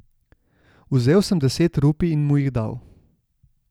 Vzel sem deset rupij in mu jih dal.